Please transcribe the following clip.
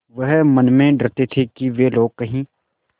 वह मन में डरते थे कि वे लोग कहीं